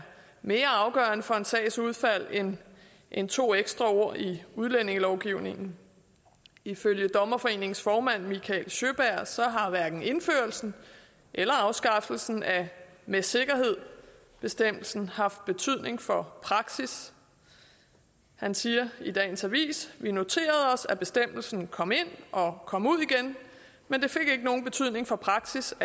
mere afgørende for en sags udfald end end to ekstra ord i udlændingelovgivningen ifølge dommerforeningens formand mikael sjöberg har hverken indførelsen eller afskaffelsen af med sikkerhed bestemmelsen haft betydning for praksis han siger i dagens avis vi noterede os at bestemmelsen kom ind og kom ud igen men det fik ikke nogen betydning for praksis